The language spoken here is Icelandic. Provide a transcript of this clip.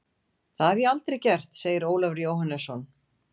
Það hef ég aldrei gert, segir Ólafur Jóhannesson.